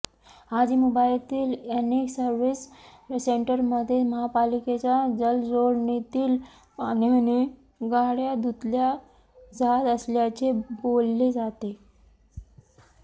आजही मुंबईतील अनेक सव्र्हिस सेंटरमध्ये महापालिकेच्या जलजोडणीतील पाण्याने गाडया धुतल्या जात असल्याचे बोलले जाते